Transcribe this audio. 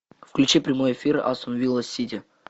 включи прямой эфир астон вилла сити